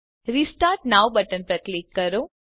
restart now button પર click કરો